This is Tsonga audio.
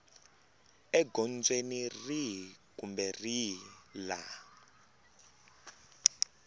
egondzweni rihi kumbe rihi laha